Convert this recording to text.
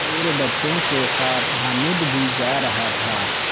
और बच्चों के साथ हामिद भी जा रहा था